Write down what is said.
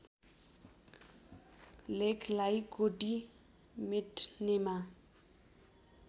लेखलाई कोटि मेट्नेमा